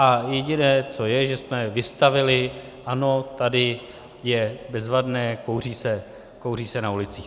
A jediné, co je, že jsme vystavili, ano, tady je bezvadné, kouří se na ulicích.